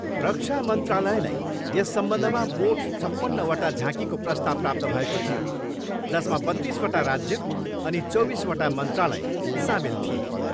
रक्षा मन्त्रालयलाई यस सम्बन्धमा मोठ छप्पन्नवटा झाँकीको प्रस्ताव प्राप्त भएको थियो जसमा बत्तिसवटा राज्य अनि चौबिसवटा मन्त्रालय सामेल थिए।